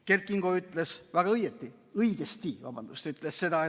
Kert Kingo ütles väga õieti – õigesti, vabandust!